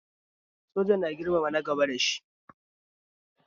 Soja na girmama na gaba da shi